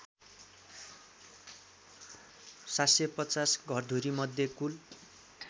७५० घरधुरीमध्ये कुल